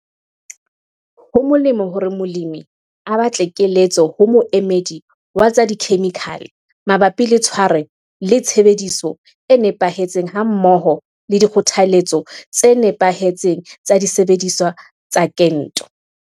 Ho molemo hore molemi a batle keletso ho moemedi wa tsa dikhemikhale mabapi le tshwaro le tshebediso e nepahetseng hammoho le dikgothaletso tse nepahetseng tsa disebediswa tsa kento.